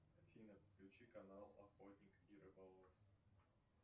афина включи канал охотник и рыболов